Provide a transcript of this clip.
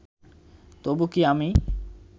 তবু কি আমি